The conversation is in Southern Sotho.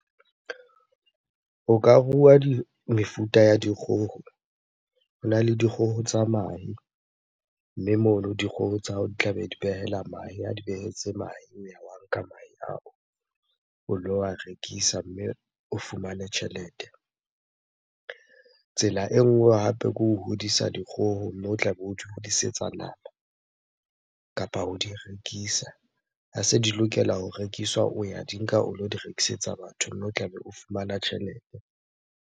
O ka rua di, mefuta ya dikgoho. Hona le dikgoho tsa mahe, mme mono dikgoho tsa hao di tlabe di behela mahe. Ha di behetse mahe nka mahe ao o lo a rekisa mme o fumane tjhelete. Tsela e nngwe hape ke ho hodisa dikgoho, mme o tlabe o di hodisetsa nama kapa ho di rekisa. Ha se di lokela ho rekiswa, o ya di nka o lo di rekisetsa batho, mme o tlabe o fumana tjhelete.